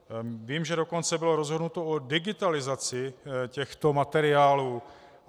Vím, že dokonce bylo rozhodnuto o digitalizaci těchto materiálů.